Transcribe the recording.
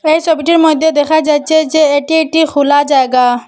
এই সবিটির মইদ্যে দেখা যাচ্ছে যে এটি একটি খোলা জায়গা।